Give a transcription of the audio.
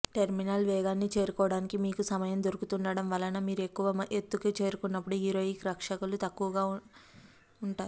terminal వేగాన్ని చేరుకోవడానికి మీకు సమయం దొరుకుతుండటం వలన మీరు ఎక్కువ ఎత్తుకు చేరుకున్నప్పుడు హీరోయిక్ రక్షకులు తక్కువగా ఉంటారు